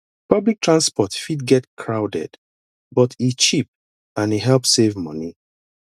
public transport fit get crowded but e cheap and e help save money